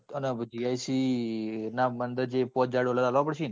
અને જે પાંચ હાજર dollar આપવા પડશે ને?